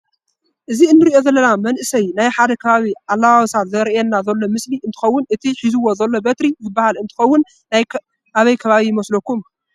እዚ እንሪኦ ዘለና መንእሰይ ናይ ሓደ ከባቢ ኣለባብሳ ዘርእየና ዘሎ ምስሊ እንትኸዉን እቲ ሒዙዎ ዘሎ በትሪ ዝበሃል እንትኸዉን ናይ ኣበይ ከባቢ ይመስለኩም?